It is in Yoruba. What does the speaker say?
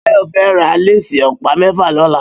Bayo fè rà lésì òpá mèfá lòlá